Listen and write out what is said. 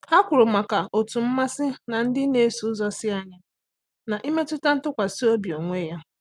Há kwùrù màkà otú mmasị na ndị nà-èso ụ́zọ́ sí ányá n’ị́métụ́tá ntụkwasị obi onwe ya.